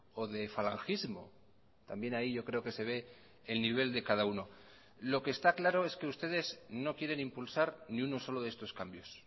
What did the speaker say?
o de falangismo también ahí yo creo que se ve el nivel de cada uno lo que está claro es que ustedes no quieren impulsar ni uno solo de estos cambios